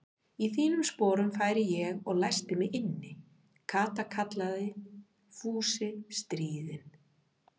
Í þínum sporum færi ég og læsti mig inni, Kata kallaði Fúsi stríðinn.